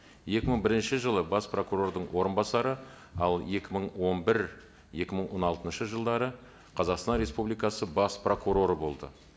екі мың бірінші жылы бас прокурордың орынбасары ал екі мың он бір екі мың он алтыншы жылдары қазақстан республикасы бас прокуроры болды